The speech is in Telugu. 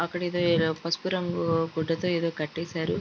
అక్కడ ఏదో పసుపు రంగు గుడ్డతో ఏదో కట్టేశారు.